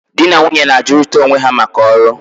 di na nwunye na-ajụrịta onwe ha maka ọrụ.